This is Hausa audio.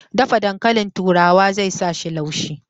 Dafa dankali turawan zai sa shi laushi